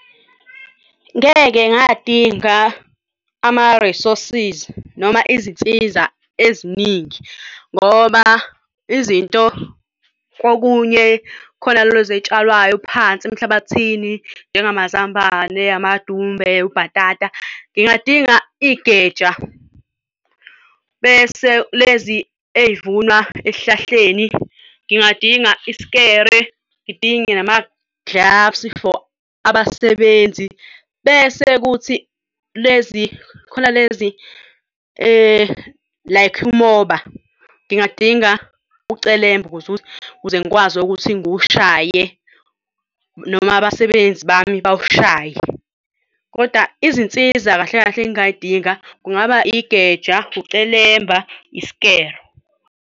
Ngeke ngadinga ama-resources noma izinsiza eziningi ngoba izinto kokunye khona lezi ey'tshalwayo phansi emhlabathini njengamazambane, amadumbe, ubhatata, ngingadinga igeja. Bese lezi ey'vunwa ey'hlahleni ngingadinga isikelo, ngidinge nama-gloves for abasebenzi bese kuthi lezi khona lezi like umoba ngingadinga ucelemba ukuze ngikwazi ukuthi ngiwushaye noma abasebenzi bami bawushaye kodwa izinsiza kahle kahle, engingay'dinga kungaba igeja, ucelemba, isikelo.